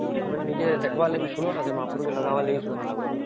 ମାନେ ନିଜେ ଦେଖିବା କଲାଗି ସୁନ୍ଦର ଆଉ ଲାଗିଲା ବେଳେ ବି ସୁନ୍ଦର